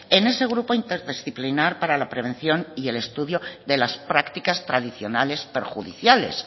en ese grupo interdisciplinar para la prevención y el estudio de las prácticas tradicionales perjudiciales